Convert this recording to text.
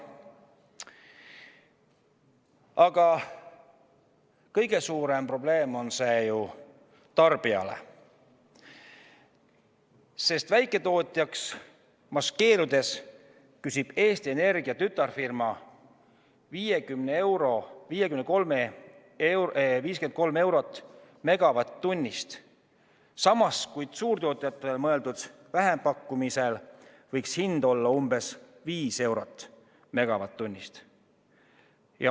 Aga kõige suurem probleem on see tarbijale, sest väiketootjaks maskeerudes küsib Eesti Energia tütarfirma 53 eurot megavatt-tunni eest, samas kui suurtootjatele mõeldud vähempakkumisel võiks hind olla umbes 5 eurot megavatt-tunni eest.